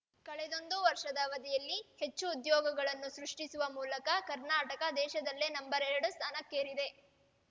ಕಳೆದೊಂದು ವರ್ಷದ ಅವಧಿಯಲ್ಲಿ ಹೆಚ್ಚು ಉದ್ಯೋಗಗಳನ್ನು ಸೃಷ್ಟಿಸುವ ಮೂಲಕ ಕರ್ನಾಟಕ ದೇಶದಲ್ಲೇ ನಂಬರ್ ಎರಡು ಸ್ಥಾನಕ್ಕೇರಿದೆ